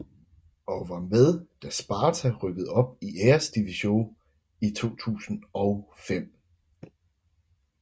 Og var med da Sparta rykkede op til Eredivisie i 2005